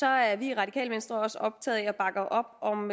er vi i radikale venstre også optaget af og bakker op om